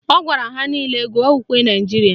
Ọ gwara ha nile gụọ ukwe Naijiria